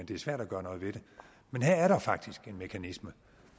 det er svært at gøre noget ved det men her er der faktisk en mekanisme